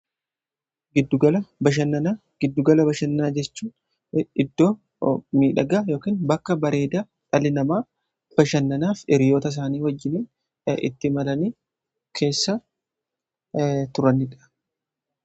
Giddugala bashannaa jechuun iddoo miidhagaa bakka bareeda dhali namaa bashannanaaf hiriyoota isaanii wajjini itti imalanii keessa turanidha